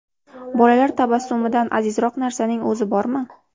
Bolalar tabassumidan azizroq narsaning o‘zi bormi?